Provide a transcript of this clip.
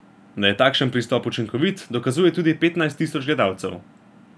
Da je takšen pristop učinkovit, dokazuje tudi petnajst tisoč gledalcev.